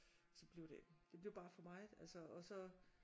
Så blev det det blev bare for meget altså og så